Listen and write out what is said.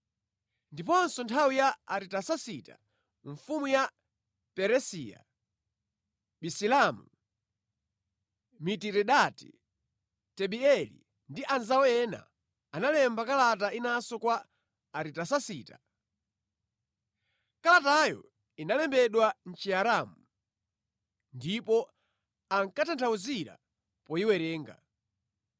Ndiponso mʼnthawi ya Aritasasita mfumu ya Perisiya, Bisilamu, Mitiredati, Tabeeli ndi anzawo ena analemba kalata inanso kwa Aritasasita. Kalatayo inalembedwa mʼChiaramu ndipo ankatanthauzira poyiwerenga.